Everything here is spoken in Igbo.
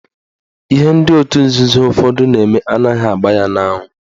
Ihe ndị otu nzuzo ụfọdụ na-eme anaghị agba ya n'anwụ.